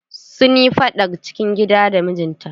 Sun yi faɗar cikin gida da mijinta.